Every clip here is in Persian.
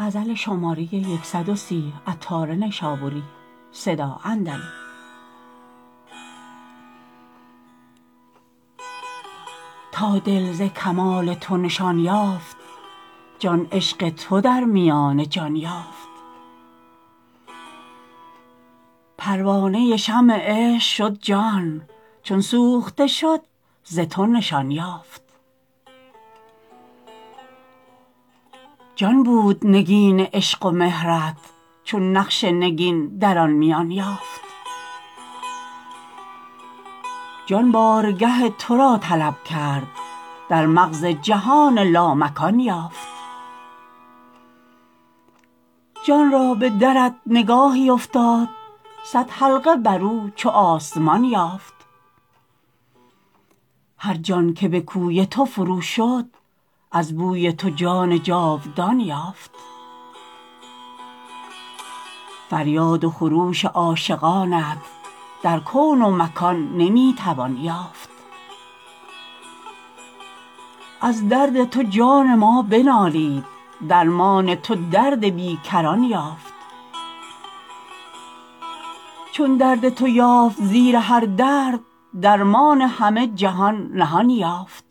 تا دل ز کمال تو نشان یافت جان عشق تو در میان جان یافت پروانه شمع عشق شد جان چون سوخته شد ز تو نشان یافت جان بود نگین عشق و مهرت چون نقش نگین در آن میان یافت جان بارگه تورا طلب کرد در مغز جهان لامکان یافت جان را به درت نگاهی افتاد صد حلقه برو چو آسمان یافت هر جان که به کوی تو فرو شد از بوی تو جان جاودان یافت فریاد و خروش عاشقانت در کون و مکان نمی توان یافت از درد تو جان ما بنالید درمان تو درد بی کران یافت چون درد تو یافت زیر هر درد درمان همه جهان نهان یافت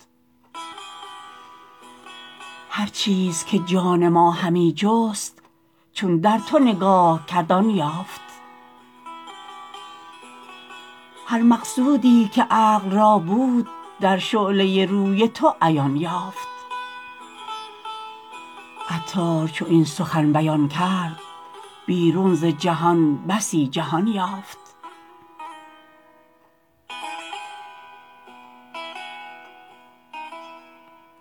هرچیز که جان ما همی جست چون در تو نگاه کرد آن یافت هر مقصودی که عقل را بود در شعله روی تو عیان یافت عطار چو این سخن بیان کرد بیرون ز جهان بسی جهان یافت